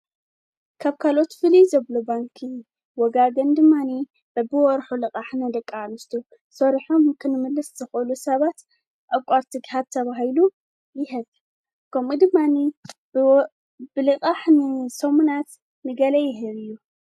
ካብ ካልኦት ፍልይ ዘብሎ ባንኪ ወጋገን ድማኒ በብወርሑ ልቓሕ ንደቃኣንስትዮቱ ሰርሖም ክንምልስቲ ዂሉ ሰባት ኣቋርቲ ግህ ተብሂሉ ይሀት ከምኡ ድማኒ ብልቓሕኒ ሰሙናት ሚለናት ይህብ እዩ